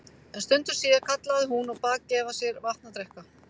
En stundu síðar kallaði hún og bað gefa sér vatn að drekka.